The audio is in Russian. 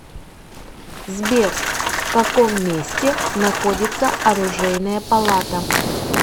сбер в каком месте находится оружейная палата